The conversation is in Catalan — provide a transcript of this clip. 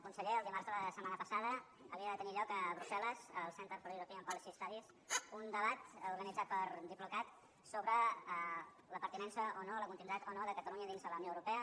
conseller dimarts de la setmana passada havia de tenir lloc a brussel·les al centre for european policy studies un debat organitzat per diplocat sobre la pertinença o no la continuïtat o no de catalunya dins de la unió europea